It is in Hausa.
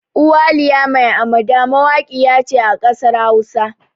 Uwaliya mai amada mawaƙiya ce a ƙasar hausa